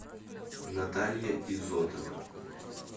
наталья изотова